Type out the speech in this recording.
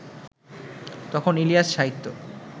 তখন ইলিয়াস-সাহিত্য